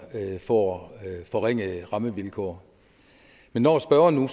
får forringede rammevilkår men når spørgeren